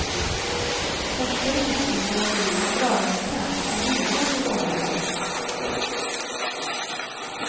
Forskare misstänker att jordens dragningskraft kan bidra till åldrandet.